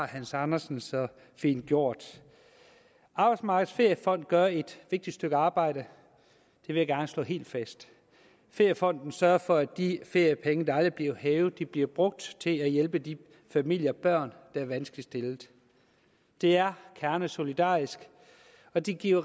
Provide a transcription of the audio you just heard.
hans andersen så fint gjort arbejdsmarkedets feriefond gør et vigtigt stykke arbejde det vil jeg gerne slå helt fast feriefonden sørger for at de feriepenge der aldrig bliver hævet bliver brugt til at hjælpe de familier og børn der er vanskeligt stillet det er kernesolidarisk og det giver